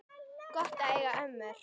Gott að eiga ömmur!